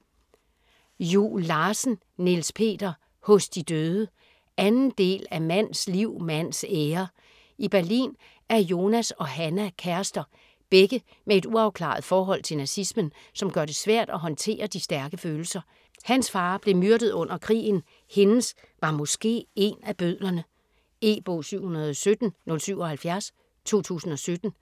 Juel Larsen, Niels Peter: Hos de døde 2. del af Mands liv, mands ære. I Berlin er Jonas og Hannah kærester - begge med et uafklaret forhold til nazismen, som gør det svært at håndtere de stærke følelser. Hans far blev myrdet under krigen, hendes var måske én af bødlerne. E-bog 717077 2017.